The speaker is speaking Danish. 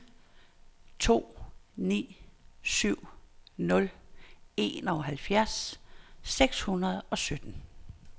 to ni syv nul enoghalvfjerds seks hundrede og sytten